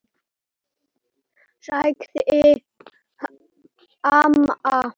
sagði amma.